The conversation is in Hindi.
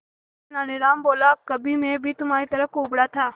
तेनालीराम बोला कभी मैं भी तुम्हारी तरह कुबड़ा था